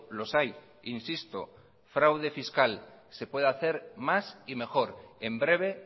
los hay insisto fraude fiscal se puede hacer más y mejor en breve